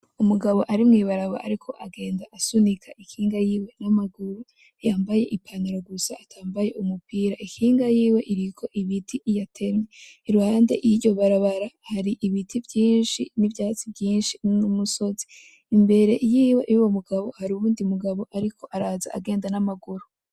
Umugabo ari mw’ibarabara ariko agenda asunika ikinga yiwe n’amaguru, yambaye i pantaro gusa atambaye umupira. Ikinga yiwe iriko ibiti yatemye. Iruhande y’iryo barabara hari ibiti vyinshi n’ivyatsi vyinshi n’umusozi. Imbere yiwe yuwo mugabo hari uwundi mugabo ariko araza agenda n’amaguru.